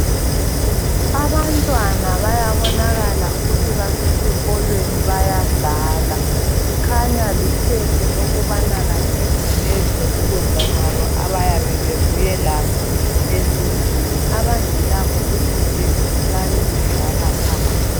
Abantwana bayabonakala ukuthi basesikolweni bayadlala. Kukhanya likhefu lokubana kathesi bedle ukudla kwabo abayabe bebuye lakho ezindlini. Abangelakho kufuze babe bedlala phandle.